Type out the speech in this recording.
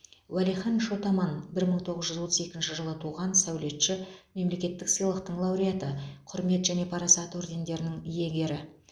уәлихан шот аман бір мың тоғыз жүз отыз екінші жылы туған сәулетші мемлекеттік сыйлықтың лауреаты құрмет және парасат ордендерінің иегері